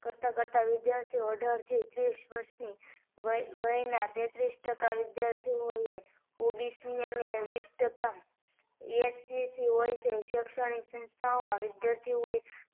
કરતા કરતા વિદ્યાર્થીઓ અઢાર થી ત્રીસ વર્ષની વય ના તેત્રીસ ટકા વિદ્યાર્થીઓએ OBC અને વીસ ટકા SCC હોય છે શેક્ષણીક સંસ્થાઓ માં વિદ્યાર્થીઓએ